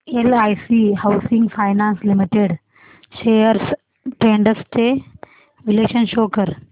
LIC housing finance limited shares trends चे विश्लेषण show कर